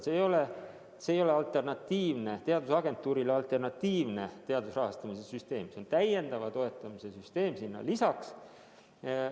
See ei ole teadusagentuurile alternatiivne teaduse rahastamise süsteem, see on täiendava toetamise süsteem sellele lisaks.